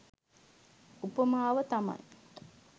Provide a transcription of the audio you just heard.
උපමාව තමයි